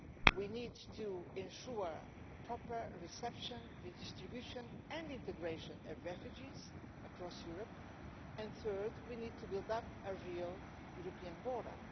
we need to ensure the proper reception, redistribution and integration of refugees across Europe, and we need to build up a real European border.